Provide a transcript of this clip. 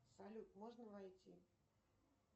салют можно войти